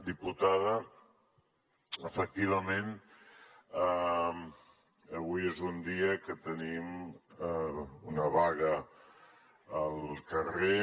diputada efectivament avui és un dia que tenim una vaga al carrer